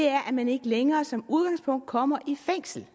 er at man ikke længere som udgangspunkt kommer i fængsel